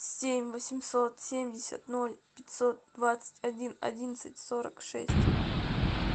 семь восемьсот семьдесят ноль пятьсот двадцать один одиннадцать сорок шесть